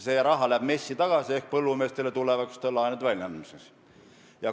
See raha läheb MES-i tagasi ehk põllumeestele tulevaste laenude väljaandmiseks.